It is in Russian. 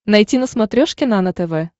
найти на смотрешке нано тв